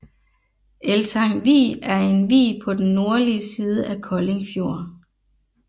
Eltang Vig er en vig på den nordlige side af Kolding Fjord